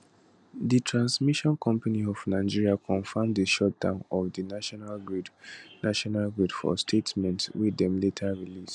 di transmission company of nigeria confam di shutdown of di national grid national grid for statement wey dem later release